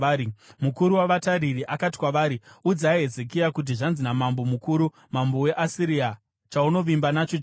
Mukuru wavatariri akati kwavari, “Udzai Hezekia kuti: “ ‘Zvanzi namambo mukuru, mambo weAsiria: Chaunovimba nacho chii?